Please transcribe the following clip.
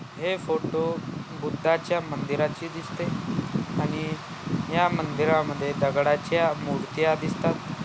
हे फोटो बुद्धाच्या मंदिराचे दिसते आणि या मंदिरा मध्ये दगडाच्या मूर्त्या दिसतात.